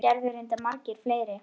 Það gerðu reyndar margir fleiri.